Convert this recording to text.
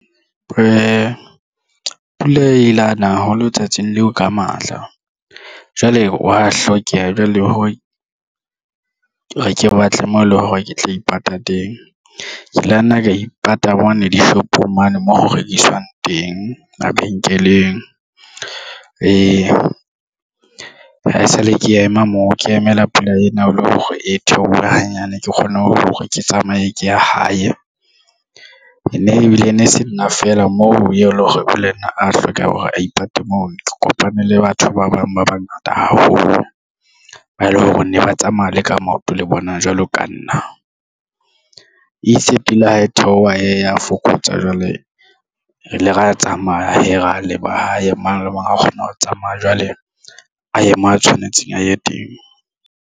Pula ile yana haholo tsatsing leo ka matla jwale wa hlokeha jwale he ha ke batle mo eleng hore ke tla ipata teng ke la nna ka ipata bone dishopong mane moo ho rekiswang teng mabenkeleng ee. Ha esale ke ema moo ke emela pula ena e le hore e theohe hanyane ke kgone hore ke tsamaye ke ye hae nne ebile e ne se nna fela moo eleng hore le nna a hlokang hore a ipate moo ke kopane le batho ba bang ba bang haholo, ba eleng hore ne ba tsamaya le ka maoto le bona jwalo ka nna ise pele ha e theoha a fokotsa jwale re ile ra tsamaya hee ra le ba hae mang le mang a kgona ho tsamaya jwale a ye moo a tshwanetseng a ye teng.